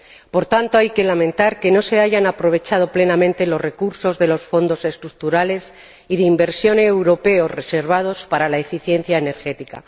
Por tanto, hay que lamentar que no se hayan aprovechado plenamente los recursos de los fondos estructurales y de inversión europeos reservados para la eficiencia energética.